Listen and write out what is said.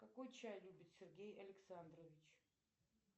какой чай любит сергей александрович